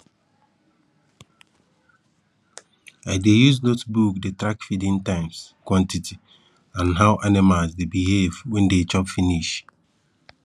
i dey use notebook dey track feeding times quantity and how animals dey behave when dey chop finish